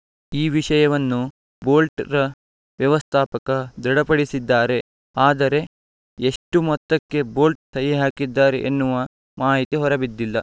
ಈ ವಿಷಯವನ್ನು ಬೋಲ್ಟ್‌ ರ ವ್ಯವಸ್ಥಾಪಕ ದೃಢಪಡಿಸಿದ್ದಾರೆ ಆದರೆ ಎಷ್ಟುಮೊತ್ತಕ್ಕೆ ಬೋಲ್ಟ್‌ ಸಹಿ ಹಾಕಿದ್ದಾರೆ ಎನ್ನುವ ಮಾಹಿತಿ ಹೊರಬಿದ್ದಿಲ್ಲ